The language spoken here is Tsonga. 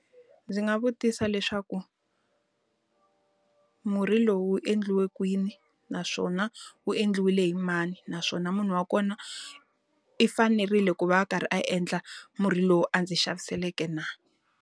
Ndzi nga vutisa leswaku murhi lowu wu endliwe kwini? Naswona wu endliwile hi mani? Naswona munhu wa kona, i fanerile ku va a karhi a endla murhi lowu a ndzi xaviseleke na?